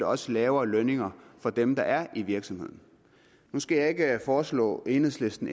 også lavere lønninger for dem der er i virksomheden nu skal jeg ikke foreslå enhedslisten